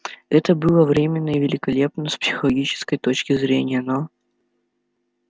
это было временно и великолепно с психологической точки зрения но